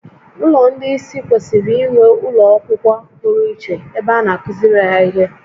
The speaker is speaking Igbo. Ụlọ ndị ìsì kwesịrị inwe ụlọ akwụkwọ pụrụ iche ebe a na-akụziri ha ihe